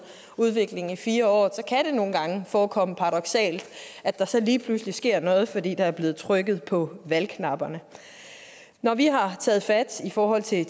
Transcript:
udvikling i fire år kan det nogle gange forekomme paradoksalt at der så lige pludselig sker noget fordi der er blevet trykket på valgknapperne når vi har taget fat i forhold til